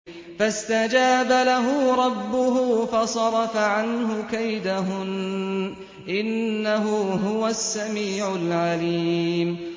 فَاسْتَجَابَ لَهُ رَبُّهُ فَصَرَفَ عَنْهُ كَيْدَهُنَّ ۚ إِنَّهُ هُوَ السَّمِيعُ الْعَلِيمُ